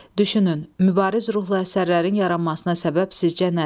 Düşünün, mübariz ruhlu əsərlərin yaranmasına səbəb sizcə nədir?